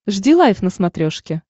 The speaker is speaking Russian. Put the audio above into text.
жди лайв на смотрешке